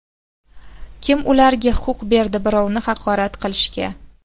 Kim ularga huquq berdi birovni haqorat qilishga?